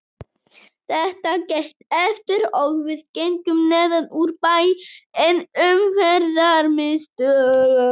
Þetta gekk eftir og við gengum neðan úr bæ inn í Umferðarmiðstöð.